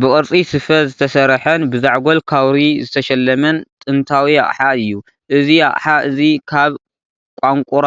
ብቅርጺ ስፈ ዝተሰርሐን ብዛዕጎል ካውሪ ዝተሸለመን ጥንታዊ ኣቕሓ እዩ። እዚ ኣቕሓ እዚ ካብ ቋንቁራ